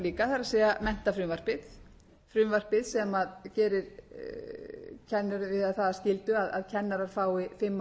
líka það er menntafrumvarpið frumvarpið sem gerir það að skyldu að kennarar fái fimm ára meistarapróf hvort